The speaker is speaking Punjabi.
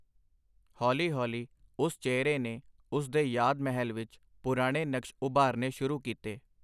ਹੌਲੀ ਹੌਲੀ ਓਸ ਚਿਹਰੇ ਨੇ ਉਸ ਦੇ ਯਾਦ-ਮਹਿਲ ਵਿਚ ਪੁਰਾਣੇ ਨਕਸ਼ ਉਭਾਰਨੇ ਸ਼ੁਰੂ ਕੀਤੇ.